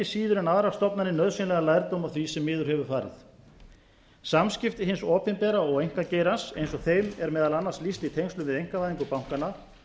síður en aðrar stofnanir nauðsynlegan lærdóm af því sem miður hefur farið samskipti hins opinbera og einkageirans eins og þeim e r meðal annars lýst í tengslum við einkavæðingu bankanna